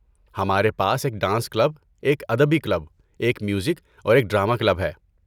ہمارے پاس ایک ڈانس کلب، ایک ادبی کلب، ایک میوزک اور ایک ڈرامہ کلب ہے۔